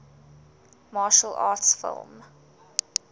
martial arts film